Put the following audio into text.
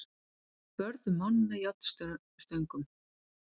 Börðu mann með járnstöngum